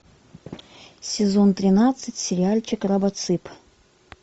сезон тринадцать сериальчик робоцып